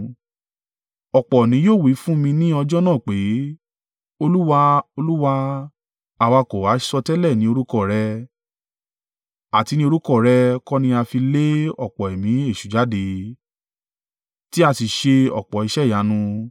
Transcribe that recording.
Ọ̀pọ̀ ni yóò wí fún mi ní ọjọ́ náà pé, ‘Olúwa, Olúwa, àwa kò ha sọtẹ́lẹ̀ ní orúkọ rẹ, àti ní orúkọ rẹ kọ́ ni a fi lé ọ̀pọ̀ ẹ̀mí èṣù jáde, tí a sì ṣe ọ̀pọ̀ iṣẹ́ ìyanu?’